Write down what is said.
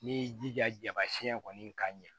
N'i y'i jija jaba siɲɛ kɔni ka ɲɛ